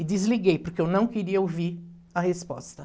E desliguei, porque eu não queria ouvir a resposta.